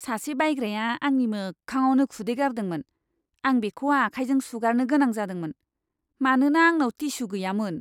सासे बायग्राया आंनि मोखांआवनो खुदै गारदोंमोन। आं बेखौ आखाइजों सुगारनो गोनां जादोंमोन, मानोना आंनाव टिस्यु गैयामोन!